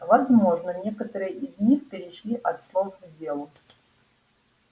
возможно некоторые из них перешли от слов к делу